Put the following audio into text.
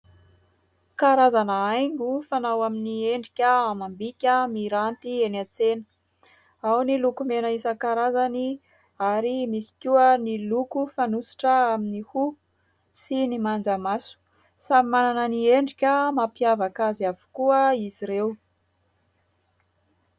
Karazana haingo fanao amin'ny endrika amam-bika miranty eny an-tsena. Ao ny lokomena isan-karazany ary misy koa ny loko fanosotra amin'ny hoho sy ny manjamaso. Samy manana ny endrika mampiavaka azy avokoa izy ireo.